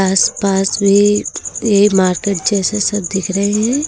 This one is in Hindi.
आस पास भी ये मार्केट जैसे सब दिख रहे हैं।